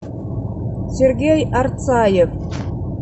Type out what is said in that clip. сергей арцаев